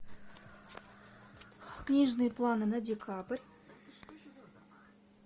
книжные планы на декабрь